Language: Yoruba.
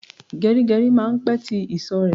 Geri geri máa ń pè tí ìsò rẹ